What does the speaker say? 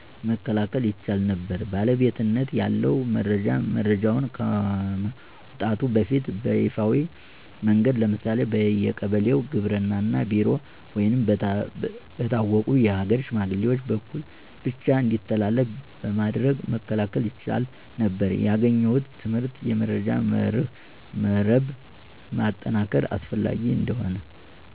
መከላከል ይቻል ነበር? ባለቤትነት ያለው መረጃ፦ መረጃው ከመውጣቱ በፊት በይፋዊ መንገድ (ለምሳሌ በየቀበሌው ግብርና ቢሮ ወይም በታወቁ የሀገር ሽማግሌዎች) በኩል ብቻ እንዲተላለፍ በማድረግ መከላከል ይቻል ነበር። ያገኘሁት ትምህርት የመረጃ መረብ ማጠናከር አስፈላጊ እንደሆነ።